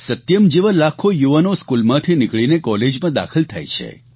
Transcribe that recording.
સત્યમ જેવા લાખો યુવાનો સ્કૂલમાંથી નીકળીને કોલેજમાં દાખલ થાય છે